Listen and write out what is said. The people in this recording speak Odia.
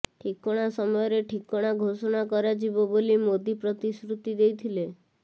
ଠିକଣା ସମୟରେ ଠିକଣା ଘୋଷଣା କରାଯିବ ବୋଲି ମୋଦି ପ୍ରତିଶ୍ରୁତି ଦେଇଥିଲେ